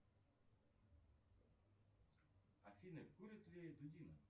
афина курит ли дудина